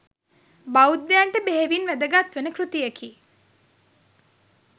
බෞද්ධයන්ට බෙහෙවින් වැදගත්වන කෘතියකි.